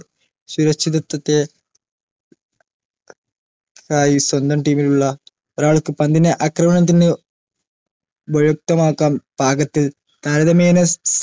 സുരക്ഷിതത്ത്വത്തെ ആയി സ്വന്തം team ലുള്ള ഒരാൾക്ക് പന്തിനെ അക്രമണത്തിൽന്ന് ഉപയുക്തമാക്കാം പാകത്തിൽ താരതമ്യേന